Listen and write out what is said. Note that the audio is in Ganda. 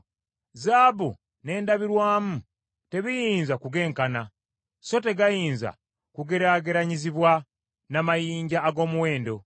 Zaabu n’endabirwamu tebiyinza kugenkana: so tegayinza kugeraageranyizibwa n’amayinja ag’omuwendo.